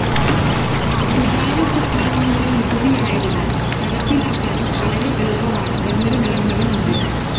സുതാര്യ സ്വഭാവമുള്ള നികുതിയായതിനാൽ നടപ്പിലാക്കാനും വളരെ എളുപ്പമാണ് എന്നൊരു മേന്മയും ഉണ്ട്.